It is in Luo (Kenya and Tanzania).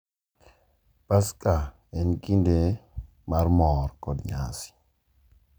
Paska en kinde mar mor kod nyasi,